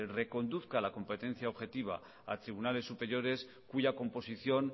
reconduzca la competencia objetiva a tribunales superiores cuya composición